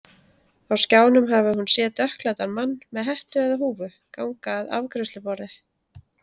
Á skjánum hafi hún séð dökkklæddan mann, með hettu eða húfu, ganga að afgreiðsluborði.